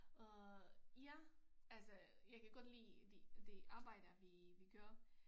Øh ja altså jeg kan godt lide det det arbejde vi vi gør